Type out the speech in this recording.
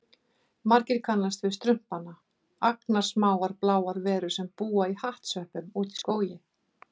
Margir kannast við Strumpana, agnarsmáar bláar verur sem búa í hattsveppum úti í skógi.